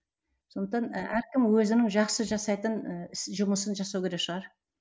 сондықтан әркім өзінің жақсы жасайтын ы іс жұмысын жасау керек шығар